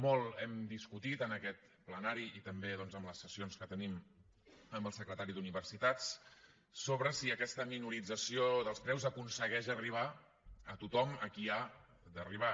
molt hem discutit en aquest ple i també en les sessions que tenim amb el secretari d’universitats sobre si aquesta minorització dels preus aconsegueix arribar a tothom a qui ha d’arribar